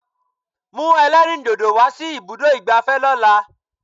Mú ẹlẹ́rìndòdò wá sí ibùdó ìgbafẹ́ lọ́la!